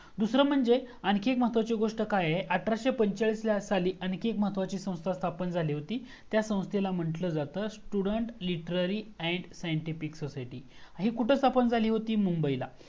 दूसरा म्हणजे आणखी एक महत्वाची गोस्ट अठराशे पंचेचाळीसला आणखीन एक संस्था स्थापन झाली होती त्या संस्थेला म्हंटलं जात student literary and scientific society ही कुठं स्थापन झाली होती? मुंबईला